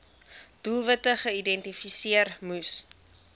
doelwitte geïdentifiseer moes